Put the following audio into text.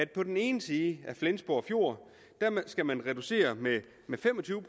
på den ene side af flensborg fjord skal reducere med fem og tyve